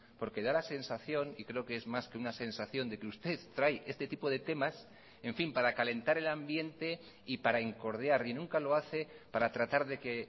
porque da la sensación y creo que es más que una sensación de que usted trae este tipo de temas en fin para calentar el ambiente y para incordiar y nunca lo hace para tratar de que